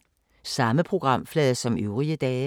Samme programflade som øvrige dage